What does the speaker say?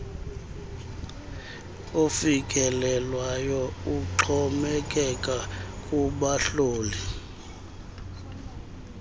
ofikelelwayo uxhomekeka kubahloli